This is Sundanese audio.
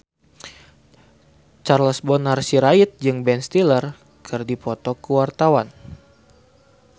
Charles Bonar Sirait jeung Ben Stiller keur dipoto ku wartawan